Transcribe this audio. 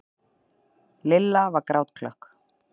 Lilla var grátklökk.